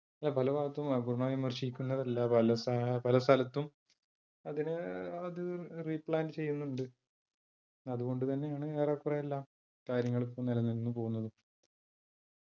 പല ഭാഗത്തും അഹ് പൂർണ്ണമായും വിമർശിക്കുന്നല്ല പല സഹ പല സ്ഥലത്തും അതിനെ അത് replant ചെയ്യുന്നുണ്ട്. അത്കൊണ്ട് തന്നെയാണ് ഏറെക്കുറെയെല്ലാ കാര്യങ്ങളും ഇപ്പൊ നിലനിന്ന് പോകുന്നത്